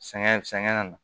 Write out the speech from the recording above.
Sɛgɛn sɛgɛn ka na